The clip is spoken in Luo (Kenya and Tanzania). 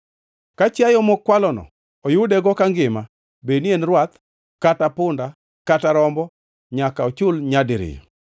“Ka chiayo mokwalno oyudego kangima bed ni en rwath kata punda kata rombo, nyaka ochul nyadiriyo.